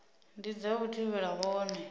ndi dza u thivhela vhone